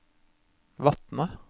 Vatne